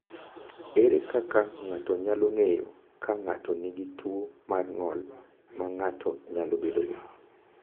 Ere kaka ng’ato nyalo ng’eyo ka ng’ato nigi tuwo mar ng’ol ma ng’ato nyalo bedogo?